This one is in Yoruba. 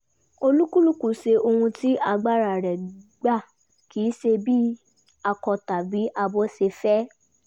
olúkúlùkù ṣe ohun tí agbára rẹ̀ gbà kì í ṣe bí akọ tàbí abo ṣe fẹ́